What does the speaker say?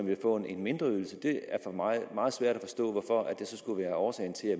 vil få en mindre ydelse er for mig meget svært at forstå skulle være årsagen til at